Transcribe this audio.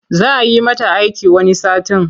Za yi mata aiki wani satin.